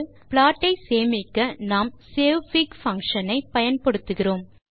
plot ஐ சேமிக்க நாம் savefig பங்ஷன் ஐ பயன்படுத்துகிறோம்